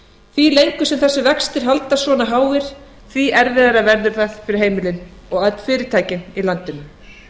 því lengur sem þessir vextir haldast svona háir því erfiðara verður það fyrir heimilin og öll fyrirtækin í landinu